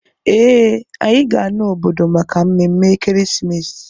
Ee, anyị ga-ana obodo maka mmemme ekeresimesi